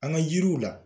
An ka yiriw la